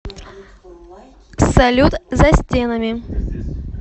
салют за стенами